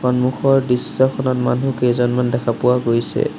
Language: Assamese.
সন্মুখৰ দৃশ্যখনত মানুহকেইজনমান দেখা পোৱা গৈছে।